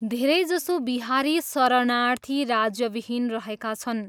धेरैजसो बिहारी शरणार्थी राज्यविहीन रहेका छन्।